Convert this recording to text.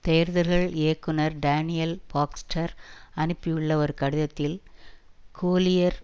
தேர்தல்கள் இயக்குனர் Daniel Baxter அனுப்பியுள்ள ஒரு கடிதத்தில் கோலியர்